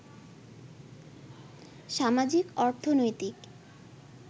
সামাজিক, অর্থনৈতিক